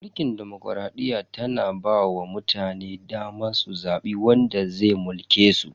Mulkin demokradiyya tana ba wa mutane daman su zabi wanda zai mulke su.